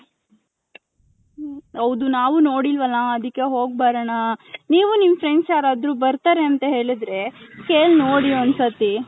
ಹೌದು ನಾವು ನೋಡಿಲ್ವಲ್ಲ ಅದಿಕ್ಕೆ ಹೋಗ್ ಬರೋಣ ನೀವು ನಿಮ್ friends ಯಾರದ್ರು ಬರ್ತಾರೆ ಅಂತ ಹೇಳದ್ರೆ ಕೇಳ ನೋಡಿ ಒಂದ್ ಸತಿ .